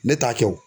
Ne t'a kɛ o